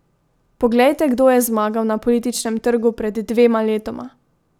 Poglejte, kdo je zmagal na političnem trgu pred dvema letoma!